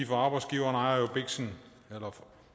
for arbejdsgiveren ejer jo biksen eller